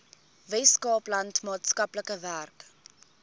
weskaapland maatskaplike werk